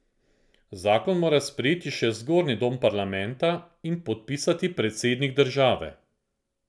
Zakon mora sprejeti še zgornji dom parlamenta in podpisati predsednik države.